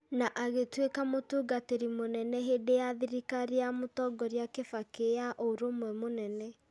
na agĩtuĩka mũtungatĩri mũnene hĩndĩ ya thirikari ya mũtongoria Kibaki ya Ũrũmwe Mũnene.